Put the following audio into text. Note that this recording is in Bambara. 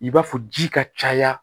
I b'a fɔ ji ka caya